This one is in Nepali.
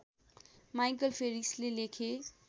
माइकल फेरिसले लेखे